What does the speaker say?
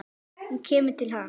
Hún kemur til hans.